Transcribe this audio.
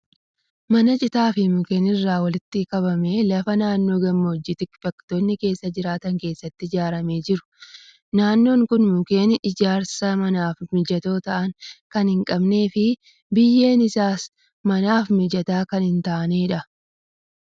Mana citaa fi mukeen irraa walitti kabamee lafa naannoo gammoojjii tikfattoonni keessa jiraatan keessatti ijaaramee jiru. Naannoon kun mukeen ijaarsa manaaf mijatoo ta'an kan hin qabnee fi biyyeen isaas manaaf mijataa kan hin taanedha.